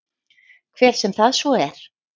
Hver sem það svo er.